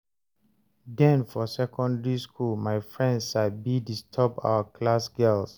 den for secondary school, my friends sabi disturb our class girls